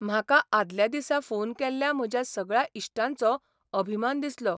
म्हाका आदल्या दिसा फोन केल्ल्या म्हज्या सगळ्या इश्टांचो अभिमान दिसलो.